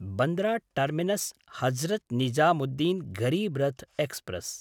Bandra टर्मिनस्–हजरत् Nizamuddin Garib Rath express